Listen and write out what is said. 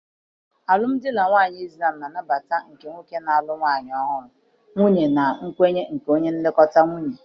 Alụmdi na nwunye Izlam Nnabata nke nwoke na-alụ nwanyị ọhụrụ, nwunye na nkwenye nke onye nlekọta nwunye.